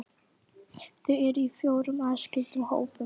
Þau eru í fjórum aðskildum hópum.